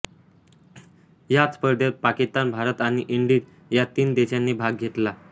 या स्पर्धेत पाकिस्तान भारत आणि इंडीज या तीन देशांनी भाग घेतला